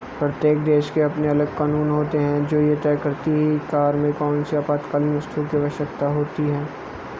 प्रत्येक देश के अपने अलग कानून होते हैं जो ये तय करती है की कार में कोनसी आपातकालीन वस्तुओं की आवश्यकता होती है